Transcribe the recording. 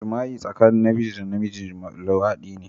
Jima'i tsakanin Namiji da Namiji, Luwadi ne